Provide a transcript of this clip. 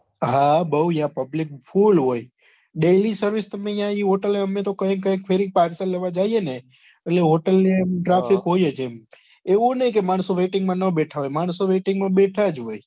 હા બહુ યા public full હોય daily service તમે યા ઈ hotel અમને તો કઈક કઈક ફેરી parcel લેવા જઈએ ને એટલે hotel ને એમ traffic હોય જ એમ એવું નહિ કે માણસો waiting માં ના બેઠા હોય માણશો waiting માં બેઠા જ હોય.